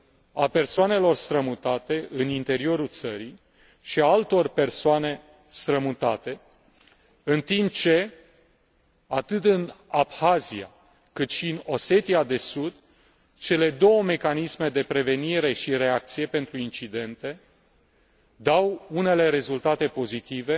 a persoanelor strămutate în interiorul țării și altor persoane strămutate, în timp ce, atât în Abhazia, cât și în Osetia de Sud, cele două mecanisme de prevenire și reacție pentru incidente dau unele rezultate pozitive